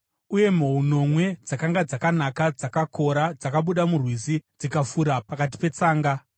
Uye mhou nomwe dzakanga dzakanaka, dzakakora, dzakabuda murwizi dzikafura pakati petsanga.